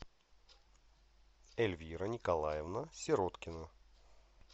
эльвира николаевна сироткина